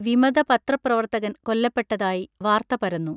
വിമത പത്രപ്രവർത്തകൻ കൊല്ലപ്പെട്ടതായി വാർത്ത പരന്നു